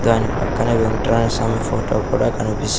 దాని పక్కన వెంకట్రాయ స్వామి ఫోటో కూడా కనిపిస్--